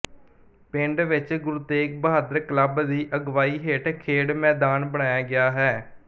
ਪਿੰਡ ਵਿੱਚ ਗੁਰੂ ਤੇਗ ਬਹਾਦਰ ਕਲੱਬ ਦੀ ਅਗਵਾਈ ਹੇਠ ਖੇਡ ਮੈਦਾਨ ਬਣਾਇਆ ਗਿਆ ਹੈ